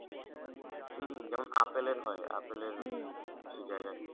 হুম হুম যেমন apple এর হয় কিছু জায়গায়